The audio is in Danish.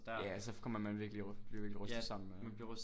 Ja så kommer man virkelig bliver virkelig rystet sammen ja